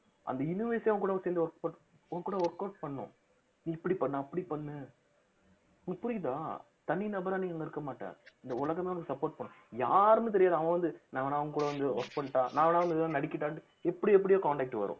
அந்த universe ஏ உன்கூட சேர்ந்து work பண்~ உன்கூட workout பண்ணணும் நீ இப்படி பண்ணு அப்படி பண்ணு உங்களுக்கு புரியுதா தனி நபரா நீ இங்க இருக்க மாட்ட இந்த உலகமே உனக்கு support பண்ணும் யாருன்னு தெரியாது அவன் வந்து நான் வேணா உன் கூட வந்து work பண்ணிட்டா நான் வேணா வந்து நடிக்கட்டான்னுட்டு எப்படி எப்படியோ contact வரும்